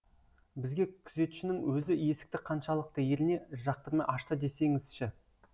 бізге күзетшінің өзі есікті қаншалықты еріне жақтырмай ашты десеңізші